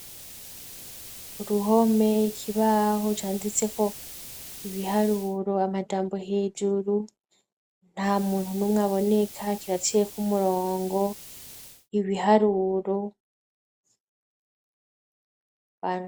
Uruhome, ikibaho canditse ko ibiharuro, amajambo hejuru; nta muntu numwe aboneka, kiraciyeko umurongo, ibiharuro..